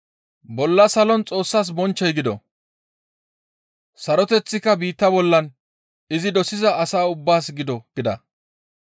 «Bolla salon Xoossas bonchchoy gido; saroteththika biitta bollan izi dosiza asaa ubbaas gido» gida.